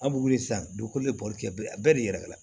An b'u wuli sisan dugukolo de bolili kɛ bɛɛ de yɛrɛ la